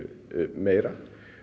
meira